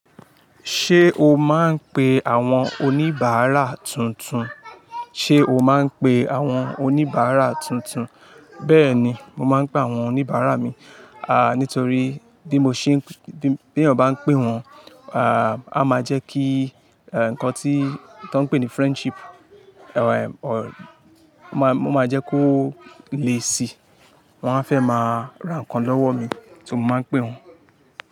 Ṣé o máa ń pe àwọn oníbàárà tuntun? Ṣé o máa ń pe àwọn oníbàárà tuntun? Bẹ́ẹ̀ni, mo máa ń pe àwọn oníbàárà mi, a, nítorí bí mo ṣe, bí ènìyàn bá ń pé wọ́n, a, a máa jẹ́ kí, e, nǹkan tí, tó ń pè ní friendship, mo máa jẹ́ kó le si. Wọ́n á fẹ́ máa ra nǹkan lọ́wọ́ mi tí mo máa ń pé wọ́n.